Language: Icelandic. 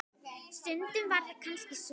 Stundum var það kannski svo.